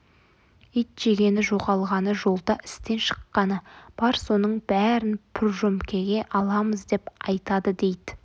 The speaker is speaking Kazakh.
ит жегені жоғалғаны жолда істен шыққаны бар соның бәрін пұржөмкеге аламыз деп айтады дейді